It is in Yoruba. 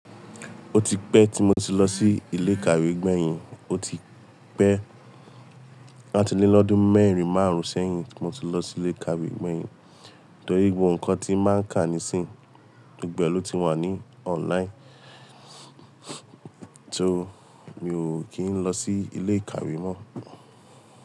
Ó ti pẹ́ tí mo ti lọ sí ilé ìkàwé gbẹ̀yìn. Ó ti pẹ́, aá ti le lọ́dún mẹ́rin márùn-ún sẹ́yìn tí mo ti lọ sí ilé ìkàwé gbẹ̀yìn. Torí gbogbo ǹkan ti máa ń kà níìsín, gbogbo e lò ti wà ní online. So mi ò kí ń lọ sí ilé ìkàwé mọ́